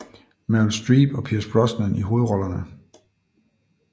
Meryl Streep og Pierce Brosnan i hovedrollerne